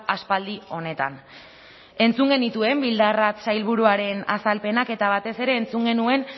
aspaldi honetan entzun genituen bildarratz sailburuaren azalpenak eta batez ere entzun genuen